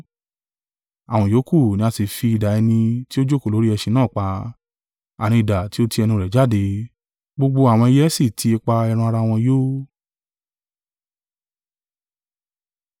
Àwọn ìyókù ni a sì fi idà ẹni tí ó jókòó lórí ẹṣin náà pa, àní idà tí ó ti ẹnu rẹ̀ jáde, gbogbo àwọn ẹyẹ sì ti ipa ẹran-ara wọn yó.